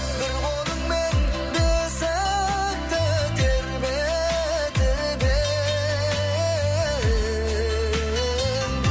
бір қолыңмен бесікті тербетіп ең